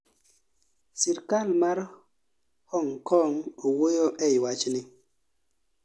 Sirkal ma Hong Kong owuoyo ei wachni